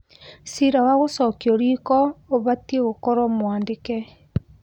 Ciira wa gũcokio riko ũbatiĩ gũkorwo mwandĩke